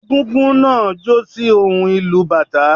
Égúngún náà jó sí ohùn ìlù u bàtá